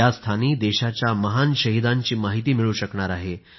या स्थानी देशाच्या महान शहीदांची माहिती मिळू शकणार आहे